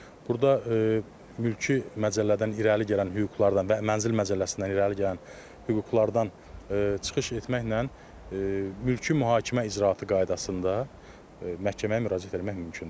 Burda mülki məcəllədən irəli gələn hüquqlardan və mənzil məcəlləsindən irəli gələn hüquqlardan çıxış etməklə mülki mühakimə icraatı qaydasında məhkəməyə müraciət etmək mümkündür.